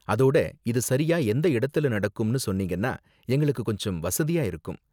அதோட, இது சரியா எந்த இடத்துல நடக்கும்னு சொன்னீங்கன்னா எங்களுக்கு கொஞ்சம் வசதியா இருக்கும்.